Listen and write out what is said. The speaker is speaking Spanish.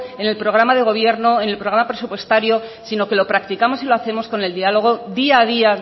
en el programa de gobierno en el programa presupuestario sino que lo practicamos y lo hacemos con el diálogo día a día